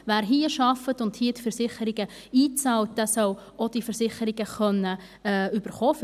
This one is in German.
Wer hier arbeitet und hier Versicherungen einzahlt, soll diese Versicherungsleistungen auch erhalten können.